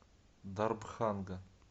дарбханга